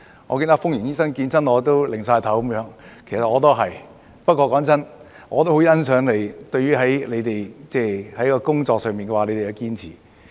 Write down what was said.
我記得封螢醫生每次見到我都搖頭，其實我亦一樣，但老實說，我也很欣賞你們在工作上的堅持。